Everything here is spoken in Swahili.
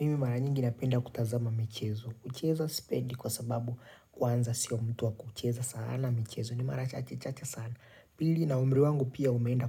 Mimi mara nyingi napenda kutazama michezo, kucheza sipendi kwa sababu kwanza sio mtu wa kucheza sana michezo, ni mara chache chache sana. Pili na umri wangu pia umeenda,